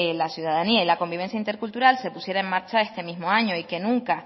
la ciudadanía y la convivencia intercultural se pudiera en marcha este mismo año y que nunca